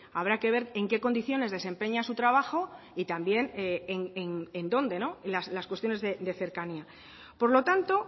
habrá que ver en qué condiciones desempeña su trabajo y también en dónde las cuestiones de cercanía por lo tanto